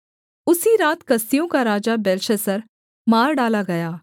उसी रात कसदियों का राजा बेलशस्सर मार डाला गया